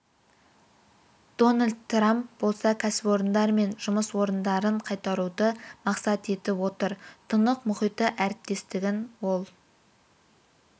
дональд трамп болса кәсіпорындар мен жұмыс орындарын қайтаруды мақсат етіп отыр тынық мұхиты әріптестігін ол